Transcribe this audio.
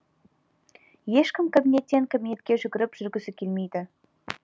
ешкім кабинеттен кабинетке жүгіріп жүргісі келмейді